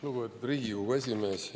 Lugupeetud Riigikogu esimees!